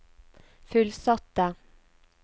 fullsatte